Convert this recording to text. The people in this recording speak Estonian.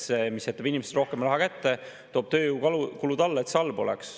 See, mis jätaks inimestele rohkem raha kätte, tooks tööjõukulud alla, oleks halb.